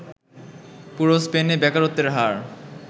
পুরো স্পেনে বেকারত্বের হার